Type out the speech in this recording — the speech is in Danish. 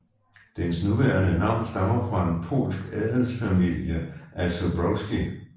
Dens nuværende navn stammer fra en polsk adelsfamilie af Zborowscy